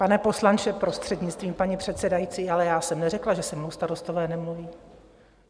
Pane poslanče, prostřednictvím paní předsedající, ale já jsem neřekla, že se mnou starostové nemluví.